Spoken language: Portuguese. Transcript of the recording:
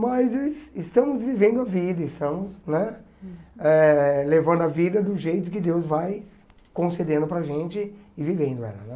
Mas es estamos vivendo a vida, estamos né eh levando a vida do jeito que Deus vai concedendo para a gente e vivendo ela né.